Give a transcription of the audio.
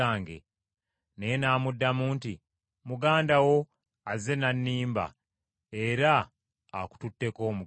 Naye n’amuddamu nti, “Muganda wo azze n’annimba era akututteko omukisa gwo.”